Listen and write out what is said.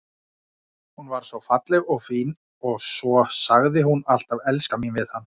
Hún var svo falleg og fín og svo sagði hún alltaf elskan mín við hann.